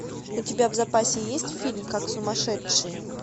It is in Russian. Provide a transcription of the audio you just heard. у тебя в запасе есть фильм как сумасшедший